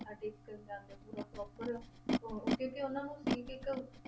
ਆ ਟੇਕਣ ਜਾਂਦੇ ਪੂਰਾ proper ਉਹ, ਉਹ ਕਿਉਂਕਿ ਉਹਨਾਂ ਨੂੰ ਸੀ ਕਿ ਇੱਕ